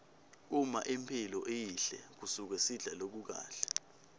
uma imphilo iyihle kusuke sidla lokukahle